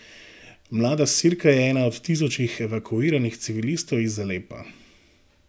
Mlada Sirka je ena od tisočih evakuiranih civilistov iz Alepa.